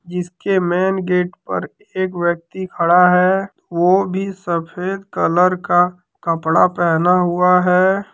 इसके main gate पे एक व्यक्ति खड़ा है वो भी सफ़ेद कलर का कपड़ा पहना हुआ है।